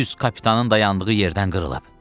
Düz kapitanın dayandığı yerdən qırılıb.